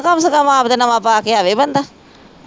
ਕਮ ਸੇ ਕਮ ਆਪ ਤਾ ਨਵਾਂ ਪਾ ਕੇ ਆਵੇ ਬੰਦਾ